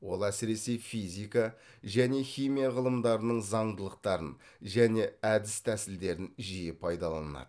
ол әсіресе физика және химия ғылымдарының заңдылықтарын және әдіс тәсілдерін жиі пайдаланады